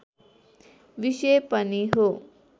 विषय पनि हो